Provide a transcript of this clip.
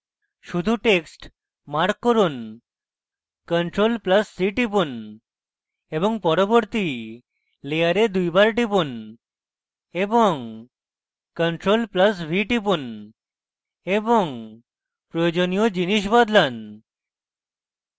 শুধু text mark করুন ctrl + c টিপুন এবং পরবর্তী layer দুইবার টিপুন এবং ctrl + v টিপুন এবং প্রয়োজনীয় জিনিস বদলান